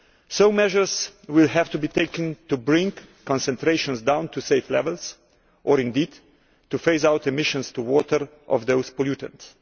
Some measures will have to be taken to bring concentrations down to safe levels or to phase out emissions to water of those pollutants.